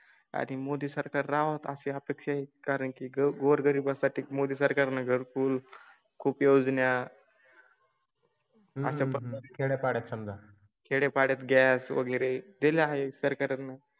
आधी मोदी सरकार राहोत अशी अपेक्षा कारण की गोरगरीबासाठी मोदी सरकार नगर पूल खूप योजना. अच्छा पळत समजा. खेडय़ापाडय़ात गॅस वगैरे दिली आहे सर कारण.